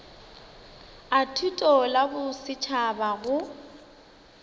a thuto la bosetšhaba go